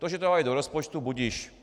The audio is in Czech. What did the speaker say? To, že to dali do rozpočtu, budiž.